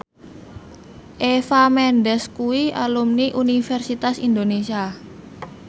Eva Mendes kuwi alumni Universitas Indonesia